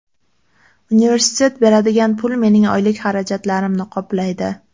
Universitet beradigan pul mening oylik xarajatlarimni qoplaydi.